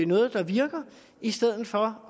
noget der virker i stedet for